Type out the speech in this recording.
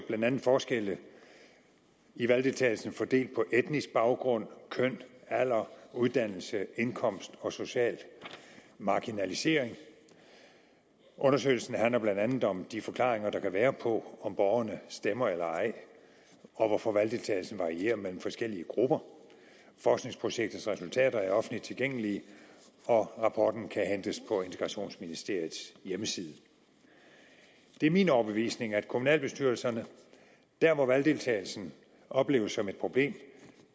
blandt andet forskelle i valgdeltagelsen fordelt på etnisk baggrund køn alder uddannelse indkomst og social marginalisering undersøgelsen handler blandt andet om de forklaringer der kan være på om borgerne stemmer eller ej og hvorfor valgdeltagelsen varierer mellem forskellige grupper forskningsprojektets resultater er offentligt tilgængelige og rapporten kan hentes på integrationsministeriets hjemmeside det er min overbevisning at kommunalbestyrelserne der hvor valgdeltagelsen opleves som et problem